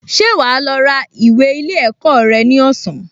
Ṣé wà á lọ ra ìwé ilé ẹ̀kọ́ rẹ ní ọ̀sán?